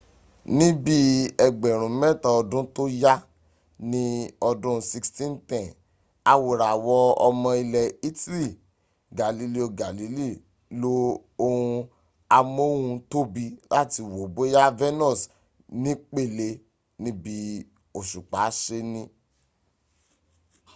níbí ẹgbẹ̀rún mẹ́ta ọdún tó yá ní ọdún 1610 awòràwọ̀ ọmọ ilẹ̀ italy galileo galilei lo ohun amóhuntóbi láti wo bóyá venus nípele níbi òṣùpá se ní